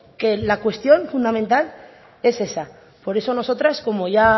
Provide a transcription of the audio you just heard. que la cuestión fundamental es esa por eso nosotras como ya